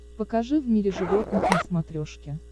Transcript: покажи в мире животных на смотрешке